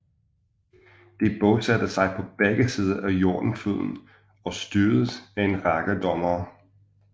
De bosatte sig på begge sider af Jordanfloden og styredes af en række dommere